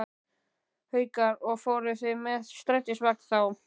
Haukur: Og fóruð þið með strætisvagni þá?